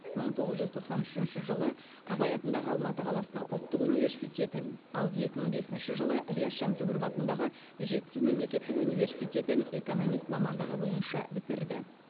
мың тоғыз жүз тоқсан үшінші жылы абай атындағы алматы қаласының ұлттық университетін ал екі мың бесінші жылы ілияс жансүгіров атындағы жетісу мемлекеттік университетін экономист мамандығы бойынша бітірді